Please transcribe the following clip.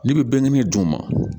Ne bɛ bɛɛ ɲini duguma